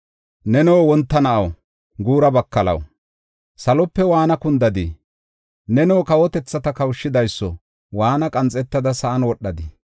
Neno wonta na7aw, guura bakalaw, salope waana kundadii? Neno kawotethata kawushidayso waana qanxetada sa7an wodhadii?